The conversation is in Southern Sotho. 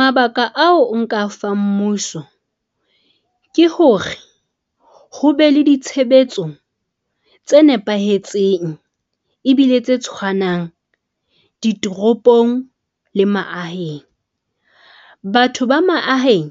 Mabaka ao o nka fang mmuso ke hore, ho be le ditshebetso tse nepahetseng ebile tse tshwanang ditoropong le maaheng. Batho ba maahaeng